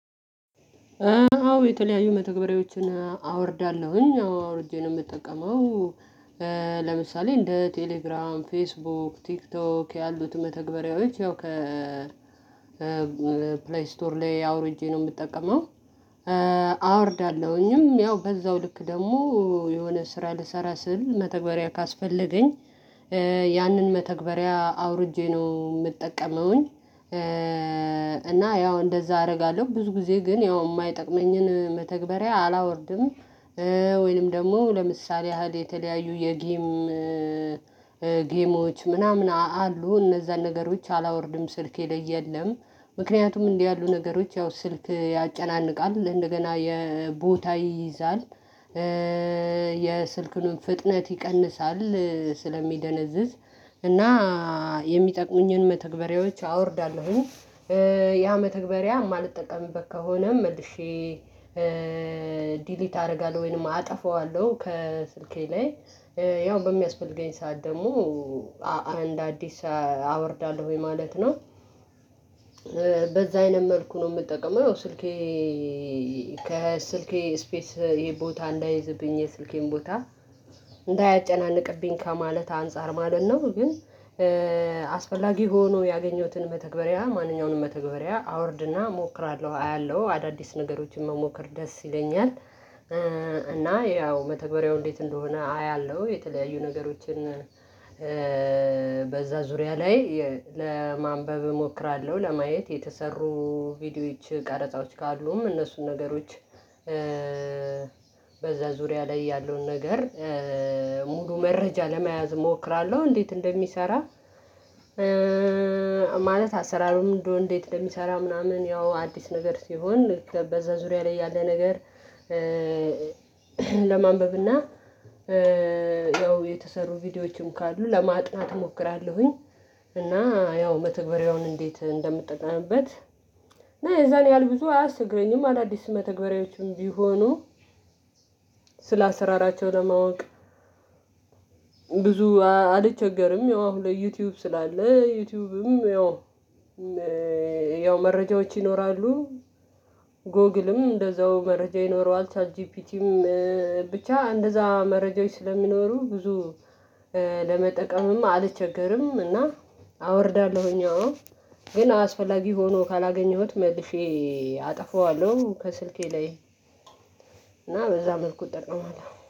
አዎ! የተለያዩ መተግበሪያዎችን አወርዳለሁኝ። አዎ! አውርጄ ነው የምጠቀመው ለምሳሌ እንደ ቴሌግራም ፌስቡክ ቲክቶክ ያሉትን መተግበሪያዎች ያው ከ ፕሌይ ስቶር ላይ አውርጄ ነው የምጠቀመው። አወርዳለሁኝም ያው በዛው ልክ ደግሞ የሆነ ስራ ልሰራ ስል መተግበሪያ ካስፈለገኝ ያንን መተግበሪያ አውርጄ ነው የምጠቀመውኝ እና ያው እንደዛ አረጋለሁ ብዙ ጊዜ ግን ያው የማይጠቅመኝን መተግበሪያ አላወርድም ወይንም ደግሞ ለምሳሌ ያህል የተለያዩ የጌም ጌሞች ምናምን አሉ እነዛን ነገሮች አላወርድም ስልኬ ላይ የለም ምክንያቱም እንዲህ ያሉ ነገሮች ያው ስልክ ያጨናንቃል እንደገና ቦታ ይይዛል የስልክን ፍጥነት ይቀንሳል ስለሚደነዝዝ እና የሚጠቅሙኝን መተግበሪያዎች አወርዳለሁኝ ያ መተግበሪያ የማልጠቀምበት ከሆነ መልሼ ዲሊት አደርጋለሁ ወይንም አጠፋዋለሁ ከስልኬ ላይ ያው በሚያስፈልገኝ ሰዓት ደግሞ አንድ አዲስ አወርዳለሁኝ ማለት ነው። በዛ አይነት መልኩ ነው የምጠቀመው ስልኬ ከስልኬ ስፔስ ቦታ እንዳይዝብኝ የስልኬን ቦታ እንዳያጨናንቅብኝ ከማለት አንፃር ማለት ነው ግን አስፈላጊ ሆኖ ያገኘሁትን መተግበሪያ ማንኛውንም መተግበሪያ አወርድና እሞክራለሁ። አያለሁ አዳዲስ ነገሮችን መሞከር ደስ ይለኛል እና ያው መተግበሪያው እንዴት እንደሆነ አያለሁ የተለያዩ ነገሮችን በዛ ዙሪያ ላይ ለማንበብ እሞክራለሁ ለማየት የተሰሩ ቪዲዮዎች ቀረጻዎች ካሉም እነሱን ነገሮች በዛ ዙሪያ ላይ ያለውን ነገር ሙሉ መረጃ ለመያዝ እሞክራለሁ እንዴት እንደሚሰራ ማለት አሰራሩም እንደው እንዴት እንደሚሰራ ምናምን ያው አዲስ ነገር ሲሆን በዛ ዙሪያ ላይ ያለ ነገር ለማንበብ እና ያው የተሰሩ ቪዲዮዎችም ካሉ ለማጥናት እሞክራለሁኝ እና ያው መተግበሪያውን እንዴት እንደምጠቀምበት እና የዛን ያህል ብዙ አያስቸግረኝም አዳዲስ መተግበሪያዎቹም ቢሆኑ ስላሰራራቸው ለማወቅ ብዙ አልቸገርም ያው አሁን ላይ ዩቱዩብም ስላለ ዩቱዩብም ያው ያው መረጃዎች ይኖራሉ ጎግልም እንደዛው መረጃ ይኖረዋል ቻት ጂፒቲም ብቻ እንደዛ መረጃዎች ስለሚኖሩ ብዙ ለመጠቀምም አልቸገርም እና አወርዳለሁኝ አዎ ግን አስፈላጊ ሆኖ ካላገኘሁት መልሼ አጠፋዋለሁ ከስልኬ ላይ እና በዛ መልኩ እጠቀማለሁ ነው